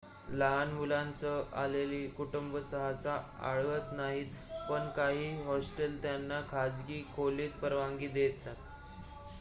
लहान मुलांसह आलेली कुटुंब सहसा आढळत नाहीत पण काही हॉस्टेल त्यांना खाजगी खोलीत परवानगी देतात